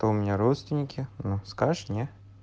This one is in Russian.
то у меня родственники ну скажешь не